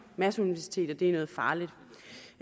masseuniversitetet er noget farligt